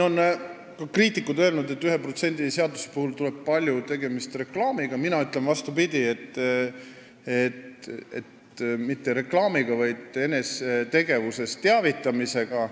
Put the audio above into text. Kriitikud on öelnud, et 1% seaduse puhul tuleb palju tegemist reklaamiga, aga mina ütlen vastupidist: mitte reklaamiga, vaid enda tegevusest teavitamisega.